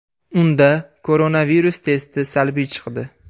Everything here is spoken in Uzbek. Unda koronavirus testi salbiy chiqdi.